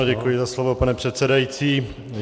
Ano, děkuji za slovo, pane předsedající.